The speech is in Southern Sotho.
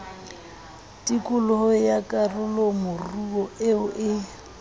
tikolo ya karolomoruo eo e